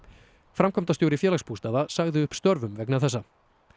framkvæmdastjóri Félagsbústaða sagði upp störfum vegna þessa